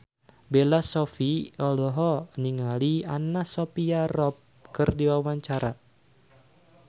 Bella Shofie olohok ningali Anna Sophia Robb keur diwawancara